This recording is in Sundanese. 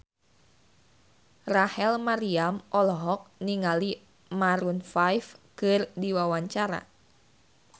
Rachel Maryam olohok ningali Maroon 5 keur diwawancara